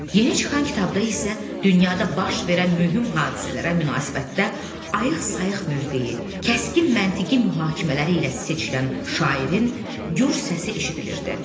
Yeni çıxan kitabda isə dünyada baş verən mühüm hadisələrə münasibətdə ayıq-sayıq mövqeyi, kəskin məntiqi mühakimələri ilə seçilən şairin gur səsi eşidilirdi.